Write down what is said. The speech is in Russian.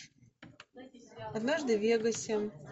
однажды в вегасе